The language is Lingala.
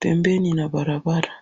pembeni nabalabala